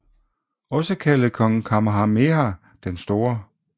Også kaldet kong Kamehameha den Store